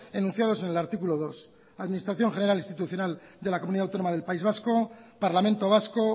enunciados en el artículo dos administración general institucional de la comunidad autónoma del país vasco parlamento vasco